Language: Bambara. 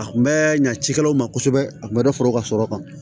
A kun bɛ ɲa cikɛlaw ma kosɛbɛ a kun bɛ fara u ka sɔrɔ kan